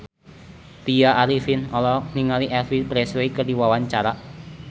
Tya Arifin olohok ningali Elvis Presley keur diwawancara